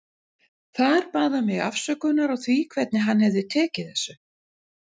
Þar bað hann mig afsökunar á því hvernig hann hefði tekið þessu.